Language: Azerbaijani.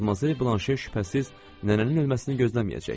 Madmazel Blanşe şübhəsiz, nənənin ölməsini gözləməyəcək.